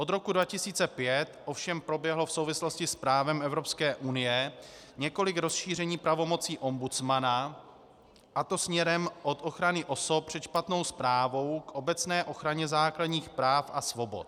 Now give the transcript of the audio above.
Od roku 2005 ovšem proběhlo v souvislosti s právem Evropské unie několik rozšíření pravomocí ombudsmana, a to směrem od ochrany osob před špatnou správou k obecné ochraně základních práv a svobod.